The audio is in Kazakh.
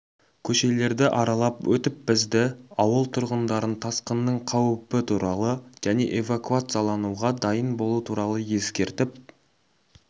көшелерді аралап өтіп бізді ауыл тұрғындарын тасқынның қауіпі туралы және эвакуациялануға дайын болу туралы ескертіп